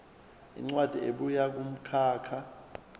incwadi ebuya kumkhakha